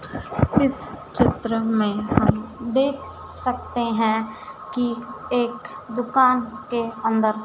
इस चित्र में हम देख सकते है कि एक दुकान के अन्दर--